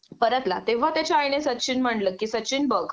परतला तेंव्हा त्याच्या आईने सचिन म्हटलं कि सचिन बघ